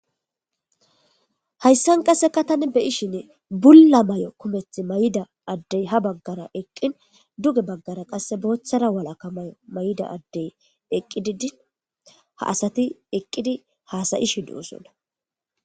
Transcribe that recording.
hayssan qasseka tan beyishin bulla may7o kumeth mayida addey ha baggara eqqin duge baggara qasse booththara walakka mayo may7ida addey eqqi di din ha asati eqqidi haasayishi du7usonna